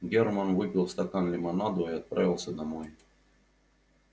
германн выпил стакан лимонаду и отправился домой